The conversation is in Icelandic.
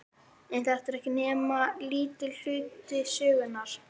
En þetta er ekki nema lítill hluti sögunnar.